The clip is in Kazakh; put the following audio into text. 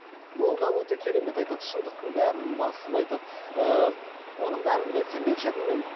ол да өте керемет айтады шындықтың бәрін басып айтады ыыы оның бәрін мен сенбеуші едім мен